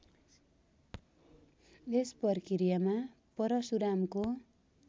यस प्रक्रियामा परशुरामको